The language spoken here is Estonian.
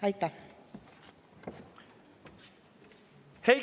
Aitäh!